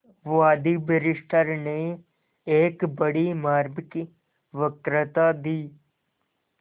वादी बैरिस्टर ने एक बड़ी मार्मिक वक्तृता दी